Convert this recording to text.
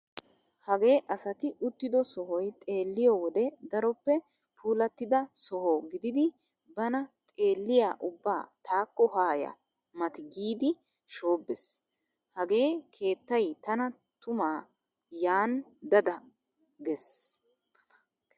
Hagee asati uttido sohoy xeelliyo wode daroppe puulattida soho gididi bana xeelliya ubbaa taakko haaya mati giidi shoobbees. Hagee keettay tana tuma yaani dada gees.